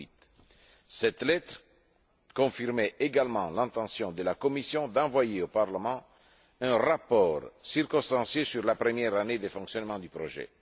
2008. Cette lettre confirmait également l'intention de la Commission d'envoyer au Parlement un rapport circonstancié sur la première année de fonctionnement du projet.